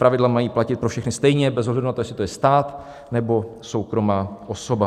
Pravidla mají platit pro všechny stejně bez ohledu na to, jestli to je stát, nebo soukromá osoba.